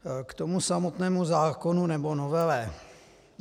K tomu samotnému zákonu, nebo novele.